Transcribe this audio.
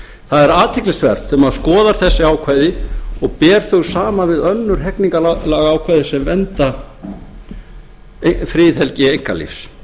það er athyglisvert þegar maður skoðar þessi ákvæði og ber þau saman við önnur hegningarlagaákvæði sem vernda friðhelgi einkalífs þá kemur til að mynda í ljós